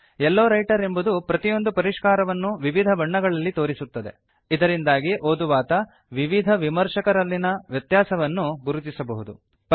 low Writer ಎಂಬುದು ಪ್ರತಿಯೊಂದು ಪರಿಷ್ಕಾರವನ್ನೂ ವಿವಿಧ ಬಣ್ಣಗಳಲ್ಲಿ ತೋರಿಸುತ್ತದೆ ಇದರಿಂದಾಗಿ ಓದುವಾತ ವಿವಿಧ ವಿಮರ್ಶಕರಲ್ಲಿನ ವ್ಯತ್ಯಾಸವನ್ನು ಗುರುತಿಸಬಹುದು